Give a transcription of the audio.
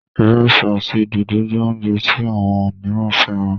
iresi àti dòdo jé oúnjẹ tí àwọn míràn féràn.